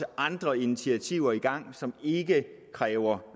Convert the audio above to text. andre initiativer i gang som ikke kræver